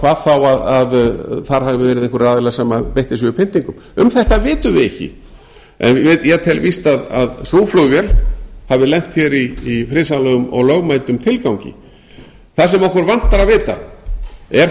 hvað þá að þar hafi verið einhverjir aðilar sem beittir séu pyntingum um þetta vitum við ekki en ég tel víst að sú flugvél hafi lent hér í friðsamlegum og lögmætum tilgangi það sem okkur vantar að vita er